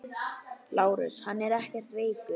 LÁRUS: Hann er ekkert veikur.